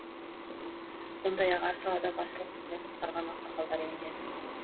сондай ақ әр салада басшылық қызмет атқарған ақсақалдар енген